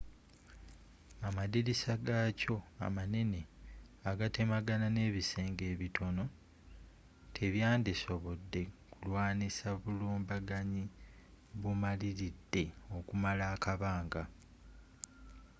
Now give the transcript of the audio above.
amadirisa gakyo amanene agatemagana n'ebisenge ebitono tebyandisobodde kulwanyisa bulumbaganyi bumaliridde okumala akabanga